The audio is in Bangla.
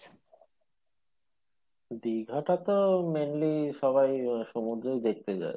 দীঘাটা তো mainly সবাই, সমুদ্রই দেখতে যাই।